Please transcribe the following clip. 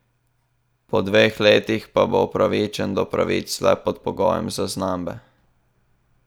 Po dveh letih pa bo upravičen do pravic le pod pogojem zaznambe.